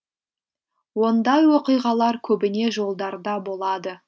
ондай оқиғалар көбіне жолдарда болады